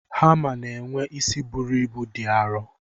Hamá na-enwe isi buru ibu dị arọ.